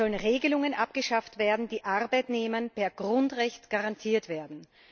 Es sollen Regelungen abgeschafft werden, die Arbeitnehmern per Grundrecht garantiert werden.